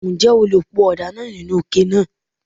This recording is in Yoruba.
Ǹjẹ́ o le po ọ̀dà náà nínú ike náà?